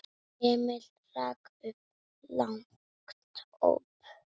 Emil rak upp lágt óp.